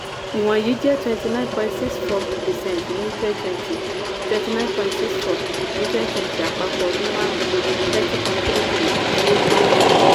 ìwọ̀n yìí jẹ́ twenty nine point six four percent ní twenty twenty twenty nine point six four percent ní twenty twenty àpapọ̀ ọdún márùn-ún thirty point three three percent tí ó kéré jù.